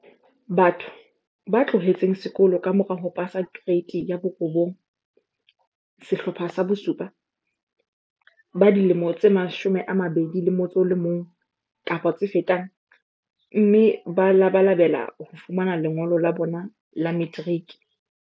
Batho ba tloheletseng sekolo ka mora ho pasa Ke reite 9, Sehlopha sa bo7, ba dilemo tse 21 kapa tse fetang, mme ba labalabela ho fumana lengolo la bona la materiki.